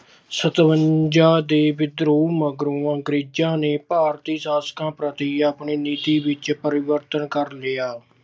ਸਤਵੰਜਾ ਦੇ ਵਿਦਰੋਹ ਮਗਰੋਂ ਅੰਗਰੇਜਾਂ ਨੇ ਭਾਰਤੀ ਸ਼ਾਸਕਾਂ ਪ੍ਰਤੀ ਆਪਣੀ ਨੀਤੀ ਵਿੱਚ ਪਰਿਵਰਤਨ ਕਰ ਲਿਆ।